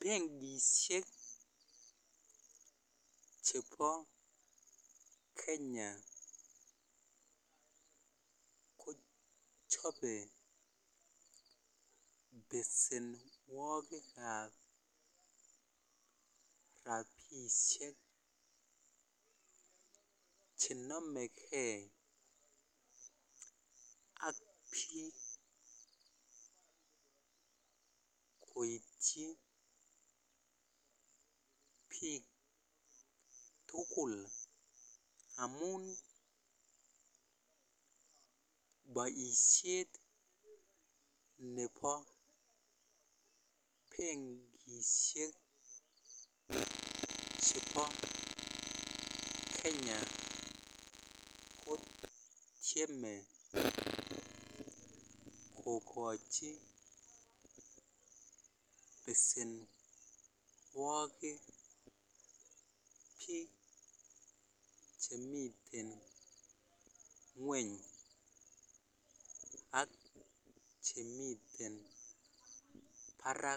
Benkishek chebo Kenya ko chobe besenuokik gab rabishiek chenome kei ak bik koityi bik tugul amun boishet nebo bengishiek chebo bengi kogochi basenuokik bik chemiten nyweny ak chemiten bara